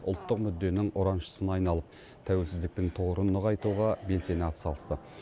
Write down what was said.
ұлттық мүдденің ұраншысына айналып тәуелсіздіктің тұғырын нығайтуға белсене атсалысты